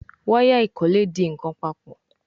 Waya ikole dì nkán papọ̀.